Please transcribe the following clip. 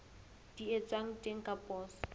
di etswang teng ka poso